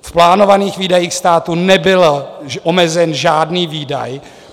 V plánovaných výdajích státu nebyl omezen žádný výdaj.